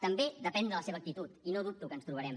també depèn de la seva actitud i no dubto que ens trobarem